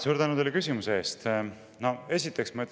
Suur tänu teile küsimuse eest!